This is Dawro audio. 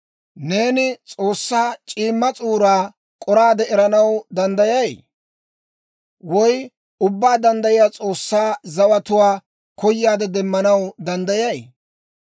«Neeni S'oossaa c'iimma s'uuraa k'oraade eranaw danddayay? Woy Ubbaa Danddayiyaa S'oossaa zawatuwaa koyaadde demmanaw danddayay?